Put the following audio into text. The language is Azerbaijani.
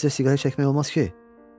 Onda sizə siqaret çəkmək olmaz ki.